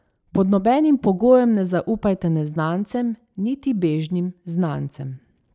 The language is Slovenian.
Pod nobenim pogojem ne zaupajte neznancem niti bežnim znancem.